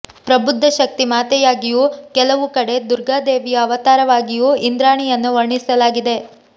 ಪ್ರಬುದ್ಧ ಶಕ್ತಿ ಮಾತೆಯಾಗಿಯೂ ಕೆಲವು ಕಡೆ ದುರ್ಗಾ ದೇವಿಯ ಅವತಾರವಾಗಿಯೂ ಇಂದ್ರಾಣಿಯನ್ನು ವರ್ಣಿಸಲಾಗಿದೆ